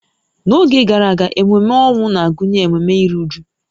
N'oge gara aga, ememe ọnwụ na-agụnye ememe iru újú